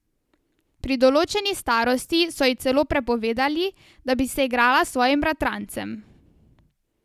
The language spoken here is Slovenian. Pri določeni starosti so ji celo prepovedali, da bi se igrala s svojim bratrancem.